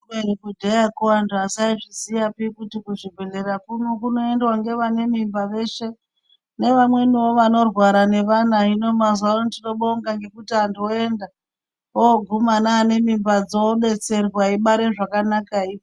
Kubeni kudhayako antu asaizviziyapi kuti kuchibhedhleya kuno kunoendiwa ngevanemimba veshe nevamweniwo vanorwara nevana .Hino mazuwa ano tinobonga ngekuti antu oyenda ooguma neane mimbadzo odetserwa eibare zvakanakai.